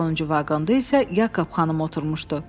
Sonuncu vaqonda isə Yakab xanım oturmuşdu.